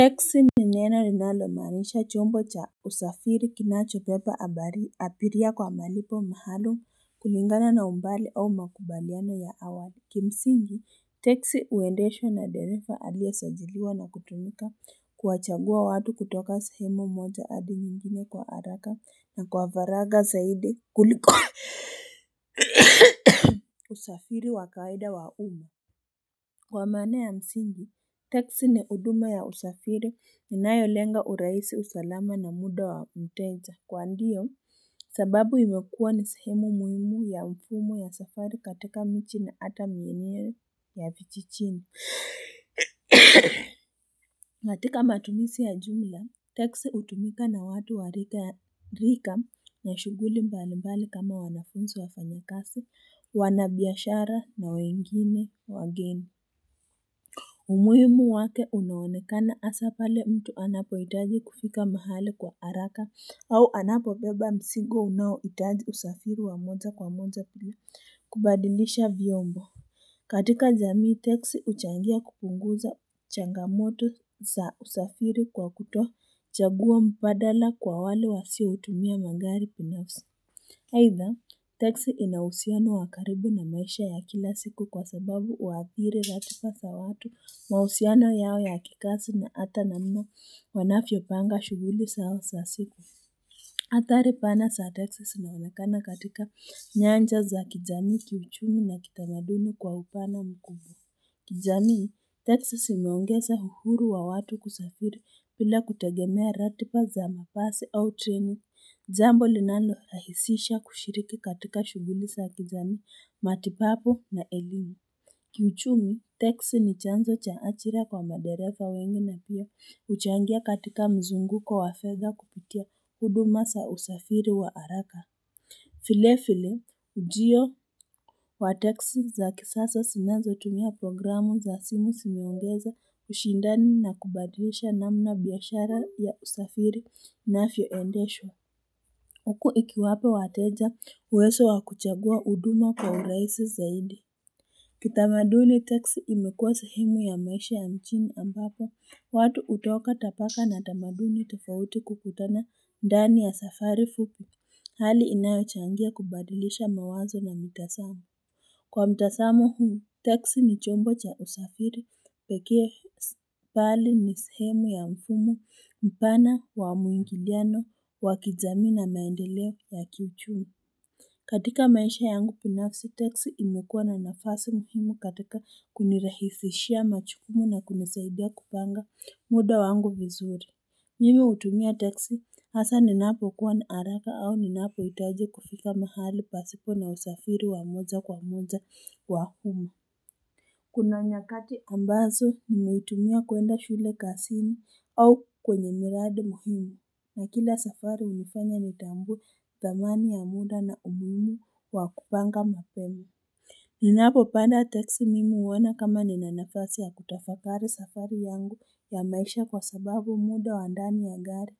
Teksi ni nena linalo maanisha chombo cha usafiri kinacho beba abiria kwa malipo maalum kulingana na umbali au makubaliano ya awali kimsingi teksi uendeshwa na dereva aliye sajiliwa na kutumika kuwachagua watu kutoka sahemu moja hadi nyingine kwa haraka na kwa faraga zaidi kuliko usafiri wakawaida wa uma kwa maana ya msingi teksi ni huduma ya usafiri inayolenga uraisi usalama na muda wa mteja kwa ndiyo sababu imekua ni sehemu muhimu ya mfumo wa safari katika miji ni hata maeneo ya vijijini katika matumizi ya jumla teksi hutumika na watu wa rika na shuguli mbali mbali kama wanafunzi wafanyakazi wanabiashara na wengine wageni umuhimu wake unaonekana hasapale mtu anapo hitaji kufika mahali kwa haraka au anapo beba mzigo unaohitaji usafiri wa moja kwa moja pia kubadilisha vyombo katika jamii teksi uchangia kupunguza changamoto za usafiri kwa kutochagua mpabala kwa wale wasio tumia magari binafsi Haidha teksi inauhusiano wakaribu na maisha ya kila siku kwa sababu uhadhiri ratiba za watu mahusiano yao ya kikazi na hata namna wanafyo panga shuguli zao za siku Athari pana za teksi zinaonekana katika nyanja za kijamii kiuchumi na kitamadumi kwa upana mkubwa kijamii teksi zimeongeza uhuru wa watu kusafiri bila kutegemea ratiba za mabasi au treni jambo linano rahisisha kushiriki katika shuguli sa kijamii matibabu na elimu Kiuchumi teksi ni chanzo cha ajira kwa madereva wengi na pia uchangia katika mzungu wa fedha kupitia huduma za usafiri wa haraka vile vile ujio wa teksi za kisasa zinazo tumia programu za simu zimeongeza ushindani na kubadilisha namna biashara ya usafiri inavyo endeshwa Huku ikiwapa wateja uwezo wakuchagua huduma kwaurahisi zaidi Kitamaduni teksi imekuwa sahemu ya maisha ya mjini ambapo watu hutoka tabaka na tamaduni tofauti kukutana ndani ya safari fupi hali inayochangia kubadilisha mawazo na mitazamo Kwa mtazamo huu teksi ni chombo cha usafiri pekee bali ni sehemu ya mfumo mpana wa muingiliano wa kijamii na maendeleo ya kiuchumi katika maisha yangu binafsi teksi imekuwa na nafasi muhimu katika kunirahisishia majukumu na kunisaidia kupanga muda wangu vizuri Mimi hutumia teksi hasa ninapo kuwa na haraka au ninapo hitaji kufika mahali pasipo na usafiri wa moja kwa moja wa humu Kuna nyakati ambazo nimetumia kwenda shule kazini au kwenye miradi muhimu na kila safari imenifanya nitambue thamani ya muda na umuhimu wa kupanga mapema Ninapo panda teksi mimi huona kama nina nafasi ya kutafakari safari yangu ya maisha kwa sababu muda wa ndani ya gari